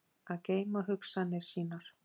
Að geyma hugsanir sínar